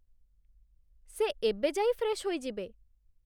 ସେ ଏବେ ଯାଇ ଫ୍ରେଶ୍ ହୋଇଯିବେ ।